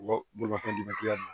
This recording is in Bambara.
Wa bolimafɛn d'i ma k'i ka